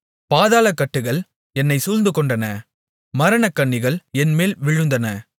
பாதாளக்கட்டுகள் என்னைச் சூழ்ந்துகொண்டன மரணக் கண்ணிகள் என்மேல் விழுந்தன